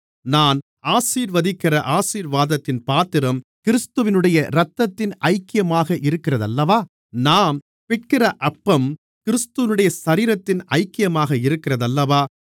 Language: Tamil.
நாம் ஆசீர்வதிக்கிற ஆசீர்வாதத்தின் பாத்திரம் கிறிஸ்துவினுடைய இரத்தத்தின் ஐக்கியமாக இருக்கிறதல்லவா நாம் பிட்கிற அப்பம் கிறிஸ்துவினுடைய சரீரத்தின் ஐக்கியமாக இருக்கிறதல்லவா